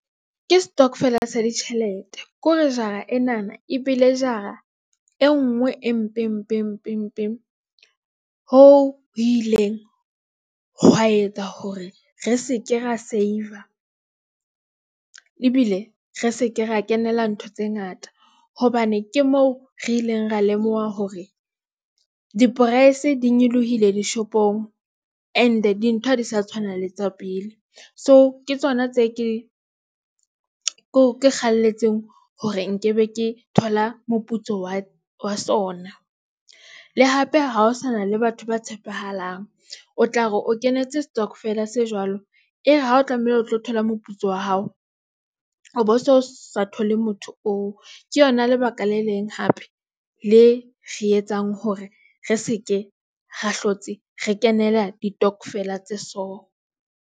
Ke stokvel-a sa ditjhelete kore jara enana ebile jara e nngwe e mpe. Mpeng hoo ho ileng hwa etsa hore re seke ra save-a ebile re seke ra kenela ntho tse ngata. Hobane ke moo re ileng ra lemoha hore di-price di nyolohile dishopong rnd dintho ha di sa tshwana le tsa pele. So ke tsona tse ke eng. Ke kgalletse hore nkebe ke thola moputso wa wa sona, le hape ha ho sana le batho ba tshepahalang, o tla re o kenetse stokvel a se jwalo ere ha o tlamehile o tlo thola moputso wa hao, o bo so sa thole motho oo. Ke yona lebaka le leng hape le re etsang hore re seke ra hlotse re kenele ditokvela tse so.